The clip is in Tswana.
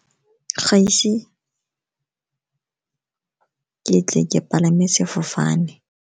Ga ise ke tle ke palame sefofane.